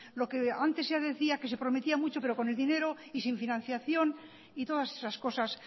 lo que antes se decía que se prometía mucho pero con el dinero y sin financiación y todas esas cosas